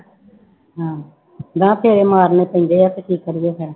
ਹਾਂ ਮੈਂ ਕਿਹਾ ਫੇਰੇ ਮਾਰਨੇ ਪੈਂਦੇ ਹੈ ਤੇ ਕੀ ਕਰੀਏ ਫਿਰ।